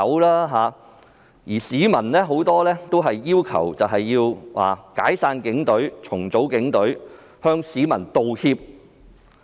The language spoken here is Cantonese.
他們也提到很多市民要求解散或重組警隊，並向市民道歉。